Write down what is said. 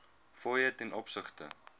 fooie ten opsigte